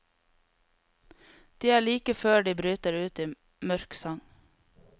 De er like før de bryter ut i mørk sang.